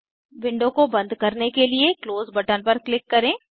window को बंद करने के लिए क्लोज बटन पर क्लिक करें